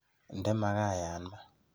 Inde makayat maat.